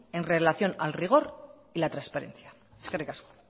en relación al rigor y la transparencia eskerrik asko